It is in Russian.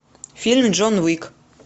фильм джон уик